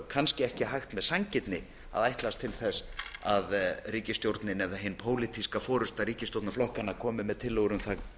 kannski ekki hægt með sanngirni að ætlast til þess að ríkisstjórnin eða hin pólitíska forusta ríkisstjórnarflokkanna komi með tillögur um það